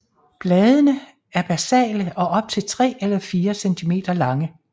Bladene er basale og op til 3 eller 4 centimeter lange